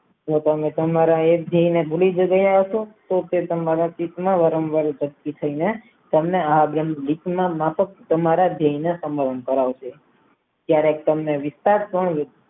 ને તમને તમારા એક જણ ને ભૂલી ગયા હસો તો તે તમારા ચિત્તમાં વરાવર ઉઅપસ્થિત થશે તમારા માફકતમારા દિલને સબંધ કરાવે છે ત્યારે તમને વિચાર થાય